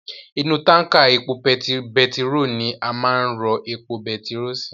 Inú tánkà epo betiró ni a máa n rọ epo betiró sii